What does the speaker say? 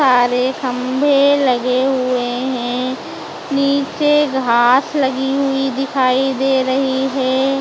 सारे खम्भे लगे हुएं हैं नीचे घास लगी हुईं दिखाई दे रहीं हैं।